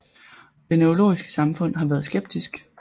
Det neurologiske samfund har været skeptisk